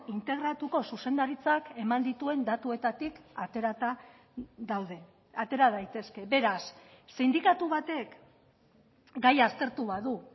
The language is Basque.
integratuko zuzendaritzak eman dituen datuetatik aterata daude atera daitezke beraz sindikatu batek gaia aztertu badu